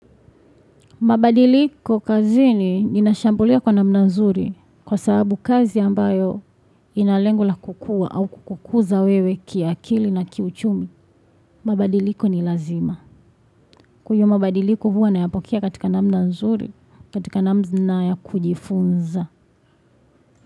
Mabadiliko kazi ni nina shambulia kwa namna nzuri kwa sababu kazi ambayo inalengo la kukua au kukukuza wewe kiakili na kiuchumi. Mabadiliko ni lazima. Kwenye mabadiliko huwa nayapokea katika namna nzuri katika namna ya kujifunza.